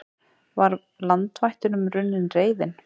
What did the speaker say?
Var landvættunum runnin reiðin?